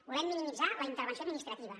volem minimitzar la intervenció administrativa